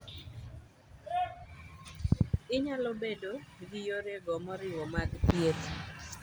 Inyalobedo gi yorego maoriwo mag thieth.